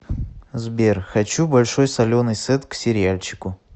сбер хочу большой соленый сет к сериальчику